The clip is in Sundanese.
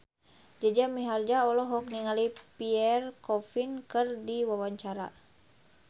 Jaja Mihardja olohok ningali Pierre Coffin keur diwawancara